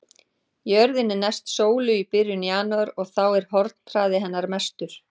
Jörðin er næst sólu í byrjun janúar og þá er hornhraði hennar mestur.